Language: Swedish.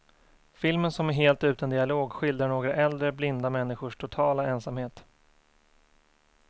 Filmen som är helt utan dialog skildrar några äldre, blinda människors totala ensamhet.